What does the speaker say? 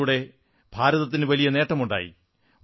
അതിലൂടെ ഭാരതത്തിനു വലിയ നേട്ടമുണ്ടായി